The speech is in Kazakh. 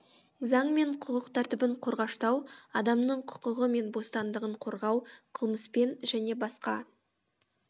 заң мен құқық тәртібін қорғаштау адамның құқығы мен бостандығын қорғау қылмыспен және басқа